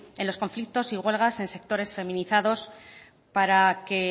en los conflictos y huelga en sectores feminizados para que